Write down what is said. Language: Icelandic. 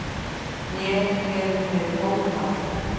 Mér hefur verið hótað